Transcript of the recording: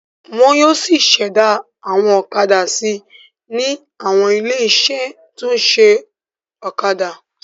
Wọn yóò ṣẹ̀dá àwọn ọ̀kadà si ní àwọn ilé-iṣẹ́ tó ṣẹ̀dá ọ̀kadà.